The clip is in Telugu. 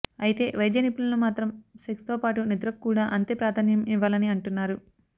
అయితే వైద్య నిపుణులు మాత్రం సెక్స్ తో పాటు నిద్రకు కూడా అంతే ప్రాధాన్యం ఇవ్వాలని అంటున్నారు